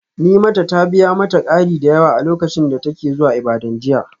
Nimata ta biya mata kari da yawa a lokacin da take zuwa Ibadan jiya.